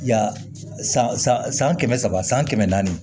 Yan san san kɛmɛ saba san kɛmɛ naani